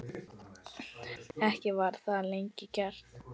Ekki var það lengi gert.